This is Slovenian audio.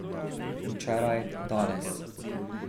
Včeraj, danes ...